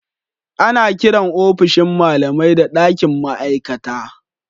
Ana kiran ofishin malamai da dakin ma'aikata.